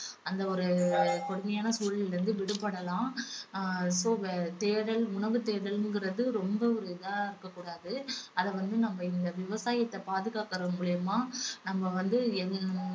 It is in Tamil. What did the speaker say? அந்த ஒரு கொடுமையான சூழலில் இருந்து விடுபடலாம். அஹ் so தேடல் உணவு தேடலுங்குறது ரொம்ப ஒரு இதா இருக்க கூடாது அத வந்து நம்ம இந்த விவசாயத்தை பாதுகாக்கிறது மூலியமா நம்ம வந்து